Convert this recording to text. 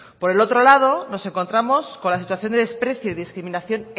por el otro lado nos encontramos con la situación de desprecio y discriminación